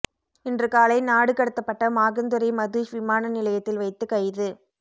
இன்று காலை நாடு கடத்தப்பட்ட மாகந்துரே மதுஷ் விமான நிலையத்தில் வைத்து கைது